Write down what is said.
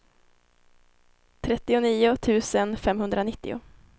trettionio tusen femhundranittio